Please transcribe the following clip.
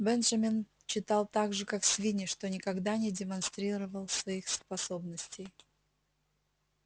бенджамин читал так же как свиньи но никогда не демонстрировал своих способностей